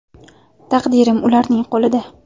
Taqdirim ularning qo‘lida.